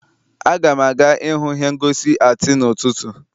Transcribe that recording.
Aga m aga ihụ ihe ngosi atii n'ụtụtụ